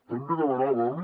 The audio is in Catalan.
també demanàvem